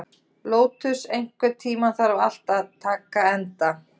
Lótus, einhvern tímann þarf allt að taka enda.